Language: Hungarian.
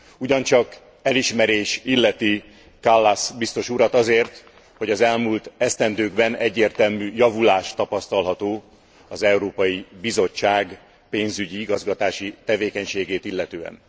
Ugyancsak elismerés illeti Kallas biztos urat azért, hogy az elmúlt esztendőkben egyértelmű javulás tapasztalható az Európai Bizottság pénzügyi igazgatási tevékenységét illetően.